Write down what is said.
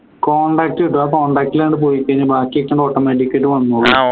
contact കിട്ടും അപ്പോ ആഹ് contact ൽ അങ്ങട് പോയിക്കഴിഞ്ഞാ ബാക്കിയൊക്കെ automatic ആയിട്ട് വന്നോളും